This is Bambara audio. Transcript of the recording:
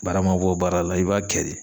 Baara man bɔ baara la i b'a kɛ de.